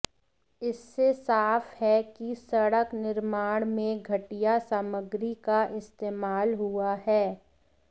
इससे साफ है कि सड़क निर्माण में घटिया सामग्री का इस्तेमाल हुआ है